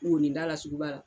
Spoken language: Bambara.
Wɔninda la sugu ba la